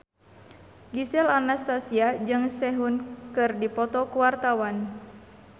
Gisel Anastasia jeung Sehun keur dipoto ku wartawan